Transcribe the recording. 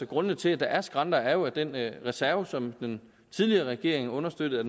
grundene til at der er skrænter er jo at den reserve som den tidligere regering understøttede